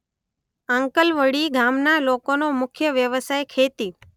આંકલવડી ગામના લોકોનો મુખ્ય વ્યવસાય ખેતી